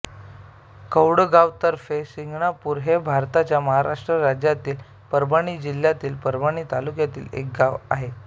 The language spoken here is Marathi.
कौडगाव तर्फे सिंगणापूर हे भारताच्या महाराष्ट्र राज्यातील परभणी जिल्ह्यातील परभणी तालुक्यातील एक गाव आहे